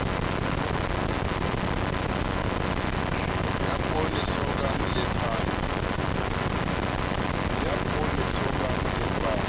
ya poone sorghum le pasta